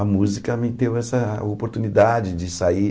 A música me deu essa oportunidade de sair...